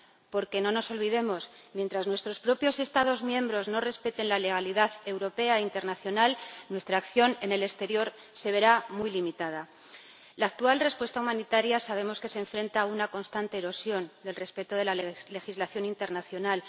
Porque, no nos olvidemos, mientras nuestros propios Estados miembros no respeten la legalidad europea e internacional, nuestra acción en el exterior se verá muy limitada. Sabemos que la actual respuesta humanitaria se enfrenta a una constante erosión del respeto de la legislación internacional.